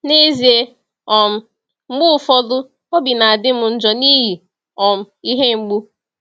N'ezie, um mgbe ụfọdụ, obi na-adị m njọ n’ihi um ihe mgbu.